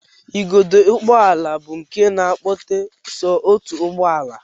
Igodo ụgbọala bụ nke na-akpọte so otu ụgbọala